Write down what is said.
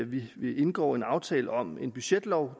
vi vi indgår en aftale om en budgetlov